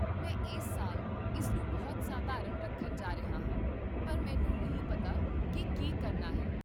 ਮੈਂ ਇਸ ਸਾਲ ਇਸ ਨੂੰ ਬਹੁਤ ਸਧਾਰਨ ਰੱਖਣ ਜਾ ਰਿਹਾ ਹਾਂ, ਪਰ ਮੈਨੂੰ ਨਹੀਂ ਪਤਾ ਕੀ ਕੀ ਕਰਨਾ ਹੈ